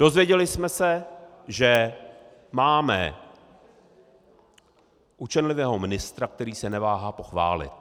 Dozvěděli jsme se, že máme učenlivého ministra, který se neváhá pochválit.